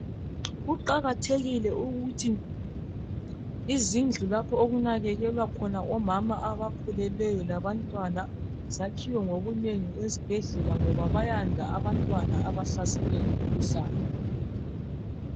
Kuqakathekile ukuthi izindlu lapho okunakekelwa khona omama abakhulelweyo labantwana zakhiwe ngobunengi esibhedlela ngoba bayanda abantwana abahlaselwe ngumkhuhlane